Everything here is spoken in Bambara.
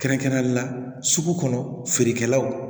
Kɛrɛnkɛrɛnnen la sugu kɔnɔ feerekɛlaw